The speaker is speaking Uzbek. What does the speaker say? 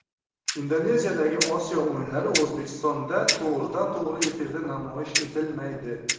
Indoneziyadagi Osiyo o‘yinlari O‘zbekistonda to‘g‘ridan to‘g‘ri efirda namoyish etilmaydi.